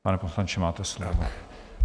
Pane poslanče, máte slovo.